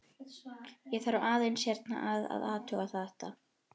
Ég þarf aðeins hérna að. að athuga þetta.